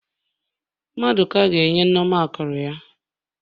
Mmaduka ga-enye Nneoma akụrụ ya.